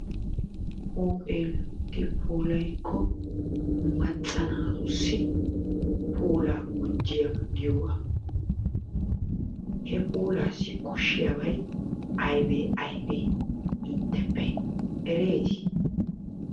Huuphee loyitti puulayikko macca naatuasi puulaa gujjiyaba giyogaa he puulaassi koshshiyabay ayibee ayibee intteppe ereeti?